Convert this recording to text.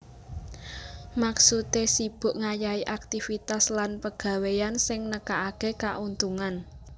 Maksudé sibuk ngayahi aktivitas lan pegawéyan sing nekakaké kauntungan